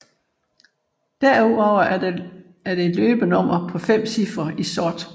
Derudover er der et løbenummer på 5 cifre i sort